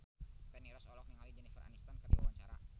Feni Rose olohok ningali Jennifer Aniston keur diwawancara